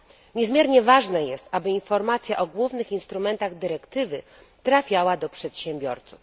Niezmiernie ważne jest, żeby informacja o głównych instrumentach dyrektywy trafiała do przedsiębiorców.